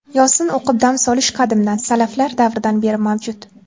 Yosin o‘qib dam solish qadimdan, salaflar davridan beri mavjud.